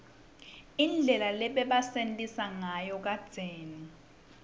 indlela lebabesenta nsayo kadzeni